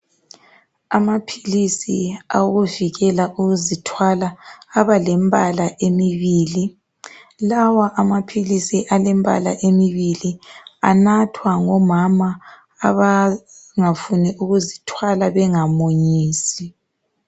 Amaphilisi okuvikela ukuzithwala abalembala emibili. Lawa amaphilisi alembala emibili anathwa ngomama abangafuni ukuzithwala bengamunyisi.